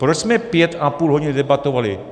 Proč jsme pět a půl hodiny debatovali?